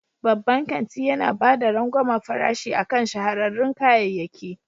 Babban kanti yana ba da rangwamen farashi akan shahararrun kayayyaki.